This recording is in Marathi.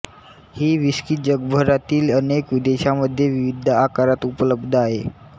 ही व्हिस्की जगभरातील अनेक देशांमध्ये विविध आकारात उपलब्ध आहे